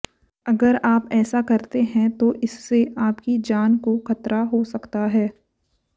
अगर आप ऐसा करते हैं तो इससे आपकी जान को खतरा हो सकता है